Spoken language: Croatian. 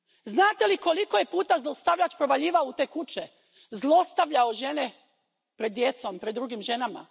Znate li koliko je puta zlostavljač provaljivao u te kuće, zlostavljao žene pred djecom, pred drugim ženama?